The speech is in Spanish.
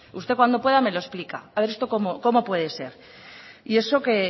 usted cuando pueda me lo explica a ver esto cómo puede ser y eso que